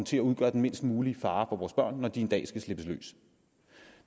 til at udgøre den mindst mulige fare for vores børn når de en dag skal slippes løs